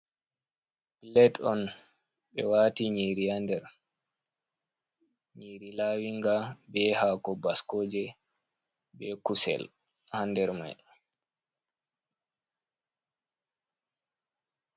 Pilet on, ɓe waati nyiiri haa nder, nyiiri laawinga be haako baskooje, be kusel haa nder may.